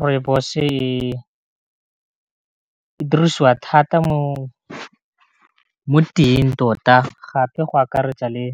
Rooibos-e e dirisiwa thata mo teyeng tota, gape go akaretsa le